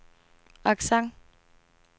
accent